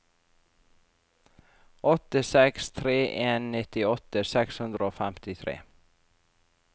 åtte seks tre en nittiåtte seks hundre og femtitre